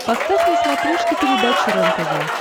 поставь на смотрешке передачу рентв